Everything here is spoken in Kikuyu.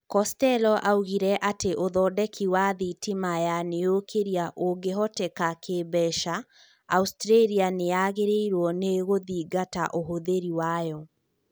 Costello augire atĩ ũthondeki wa thitima ya niukiria ũngĩhoteka kĩmbeca ,Australia nĩ yagĩrĩirũo nĩ gũthingata ũhũthĩri wayo.